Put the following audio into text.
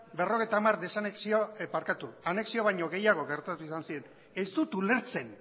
berrogeita hamar anexio baino gehiago gertatu izan ziren ez dut ulertzen